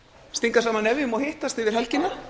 stinga saman nefjum og hittast yfir helgina